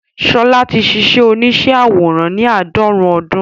Ṣọlá ti ṣíṣe oníṣẹ́ àwòrán ní àádọ́rùn-ún ọdún